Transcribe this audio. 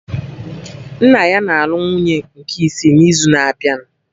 Nna ya na-alụ nwunye nke isi n'izu na-abịa